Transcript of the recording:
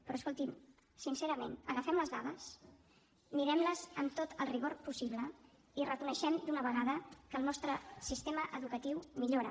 però escolti’m sincerament agafem les dades mirem les amb tot el rigor possible i reconeixem d’una vegada que el nostre sistema educatiu millora